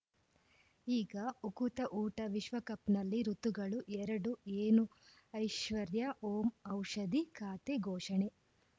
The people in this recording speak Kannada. ಈಗ ಉಕುತ ಊಟ ವಿಶ್ವಕಪ್‌ನಲ್ಲಿ ಋತುಗಳು ಎರಡು ಏನು ಐಶ್ವರ್ಯಾ ಓಂ ಔಷಧಿ ಖಾತೆ ಘೋಷಣೆ